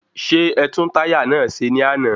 Ṣé ẹtún táyà náà ṣe ní àná?